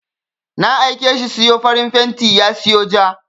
Na aike shi siyo farin fenti ya siyo ja.